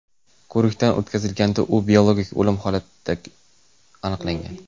ko‘rikdan o‘tkazilganda u biologik o‘lim holatidaligi aniqlangan.